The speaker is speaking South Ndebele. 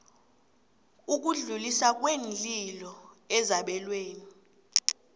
ukudluliswa kweenlilo ezabelweni